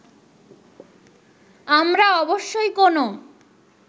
আমরা অবশ্যই কোনো